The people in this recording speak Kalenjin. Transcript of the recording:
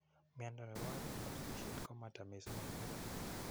miondo nepo oreet ap sigisheet koma ta missing eng murenik.